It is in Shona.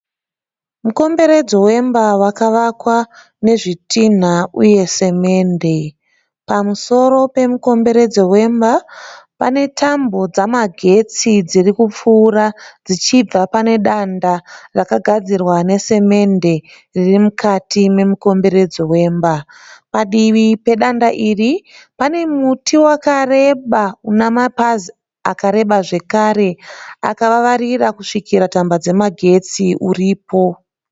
Mukomberedzo wemba wakavakwa nezvitinha uye samende. Pamusoro wemukomberedzo wemba pane tambo dzemagetsi dziri kupfuura dzichibva pane danda rakagadzirwa nesemende riri mukati memukomberedzo wemba. Padivi pedanda iri pane muti wakareba una mapazi akareba zvakare akavavarira kusvikira tambo dzamagetsi uripo.